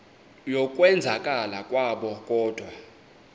yokwenzakala kwabo kodwa